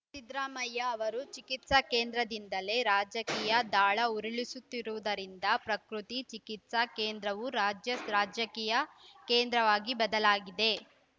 ಸಿದ್ದರಾಮಯ್ಯ ಅವರು ಚಿಕಿತ್ಸಾ ಕೇಂದ್ರದಿಂದಲೇ ರಾಜಕೀಯ ದಾಳ ಉರುಳಿಸುತ್ತಿರುವುದರಿಂದ ಪ್ರಕೃತಿ ಚಿಕಿತ್ಸಾ ಕೇಂದ್ರವು ರಾಜ್ಯ ರಾಜಕೀಯ ಕೇಂದ್ರವಾಗಿ ಬದಲಾಗಿದೆ